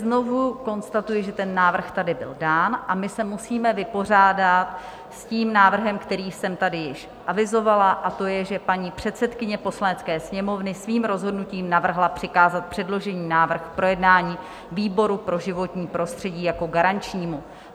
Znovu konstatuji, že ten návrh tady byl dán, a my se musíme vypořádat s tím návrhem, který jsem tady již avizovala, a to je, že paní předsedkyně Poslanecké sněmovny svým rozhodnutím navrhla přikázat předložený návrh k projednání výboru pro životní prostředí jako garančnímu.